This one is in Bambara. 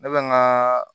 Ne bɛ n ka